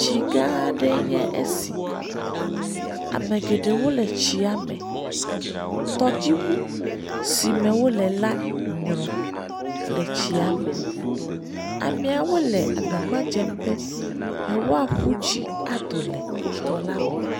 Tsi gã aɖee nye esi, ame geɖewo le tsia me, tɔdziŋu si me wole la nyrɔ̃ le tsia me, ameawo le agbagba dze be yewoaƒu tsi ado le tɔ la me.